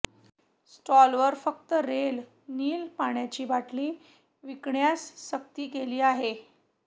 स्टॉलवर फक्त रेल निल पाण्याची बाटली विकण्यास सक्ती केली जात आहे